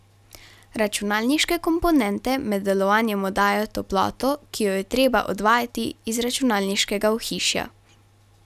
Računalniške komponente med delovanjem oddajajo toploto, ki jo je treba odvajati iz računalniškega ohišja.